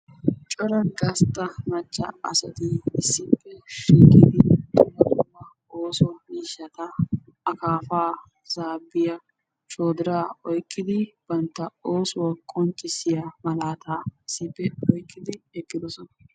Cora gasta macca asati issippe shiiqidi bantta ooso miishata akaafa, zaabbiya, shoodira oyqqidi bantta oosuwa qonccissiya malaata issippe oyqqidi eqqidosona.